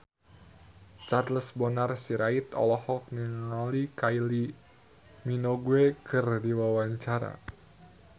Charles Bonar Sirait olohok ningali Kylie Minogue keur diwawancara